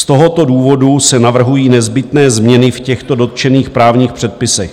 Z tohoto důvodu se navrhují nezbytné změny v těchto dotčených právních předpisech.